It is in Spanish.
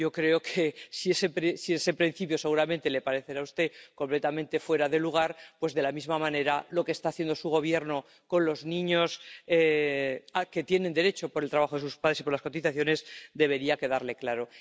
Yo creo que, si ese principio, seguramente, le parece a usted completamente fuera de lugar, de la misma manera, lo que está haciendo su Gobierno con los niños que tienen derecho a asignación por el trabajo de sus padres y por las cotizaciones debería quedarle claro.